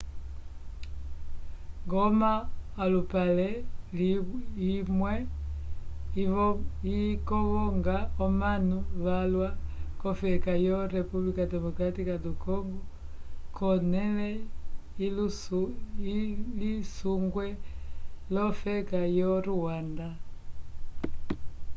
goma olupale imwe ikovonga omanu valwa k'ofeka yo república democrática do congo k'onẽle ilisungwe l'ofeka yo rwanda